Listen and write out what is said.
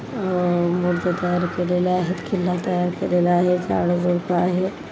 अ मुरत्या तयार केलेले आहेत किल्ला तयार केलेले आहेत झाड झुड्प आहे.